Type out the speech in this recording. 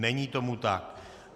Není tomu tak.